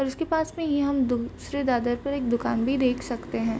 और उसके पास में ये हम दूसरे दादर पर एक दुकान भी देख सकते हैं।